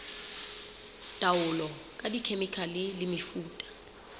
taolo ka dikhemikhale le mefuta